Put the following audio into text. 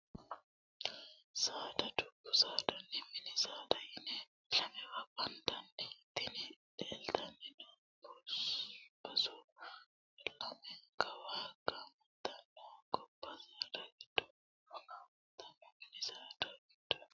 Saada: Dubbu saadanna mini saada yine lamewa banidan. Tini leeltanni noot basu lamenikawa gaamanitanno gobba saada giddono gaamanitanno mini saada giddono